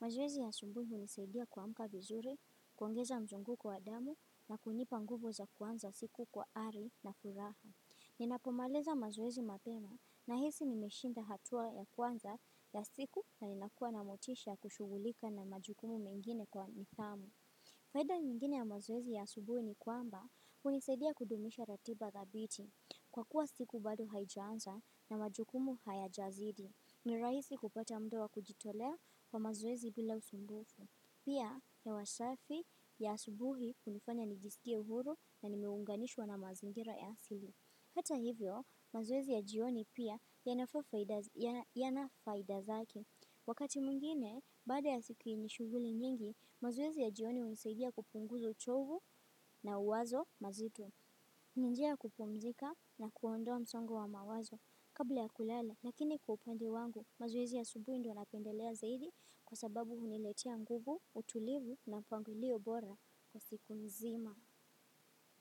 Mazowezi ya asubuhi hunisaidia kuamka vizuri, kuongeza mzunguko wa damu na kunipa nguvu za kuanza siku kwa ari na furaha. Ninapomaliza mazowezi mapema na hisi nimeshinda hatua ya kwanza ya siku na ninakua na motisha ya kushugulika na majukumu mengine kwa nidhamu. Faida nyingine ya mazowezi ya asubuhi ni kwamba hunisaidia kudumisha ratiba dhabiti kwa kuwa siku bado haijaanza na majukumu haya jazidi. Nirahisi kupata muda wa kujitolea wa mazowezi bila usumbufu. Pia hewa safi ya asubuhi hunifanya nijisikie huru na nimiunganishwa na mazingira ya asili. Hata hivyo mazowezi ya jioni yana faida zake. Wakati mwngine, baada ya siku yenye shughuli mingi, mazowezi ya jioni hunisaidia kupunguza uchovu na wazo mazito. Ninjia ya kupumzika na kuondoa msongo wa mawazo kabla ya kulala. Lakini kwa upande wangu, mazowezi ya asubuhi ndo napendelea zaidi kwa sababu huniletia nguvu, utulivu na mpangilio bora kwa siku nzima.